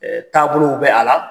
Ɛɛ taabolow bɛ a la.